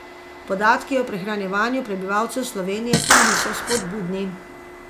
Podatki o prehranjevanju prebivalcev Slovenije pa niso vzpodbudni.